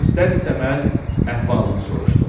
İstər-istəməz əhvalını soruşdum.